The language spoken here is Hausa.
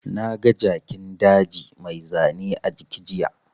Na ga Jakin daji mai zane a jiki jiya